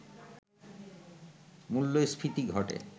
মূল্যস্ফীতি ঘটে